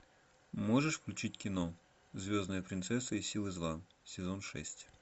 можешь включить кино звездная принцесса и силы зла сезон шесть